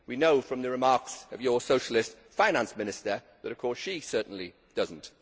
We know from the remarks of your socialist Finance Minister that she certainly does not.